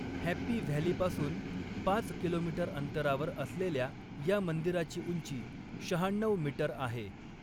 Happy व्हॅलीपासून पाच kilometre अंतरावर असलेल्या या मंदिराची उंची शहाण्णव मीटर आहे.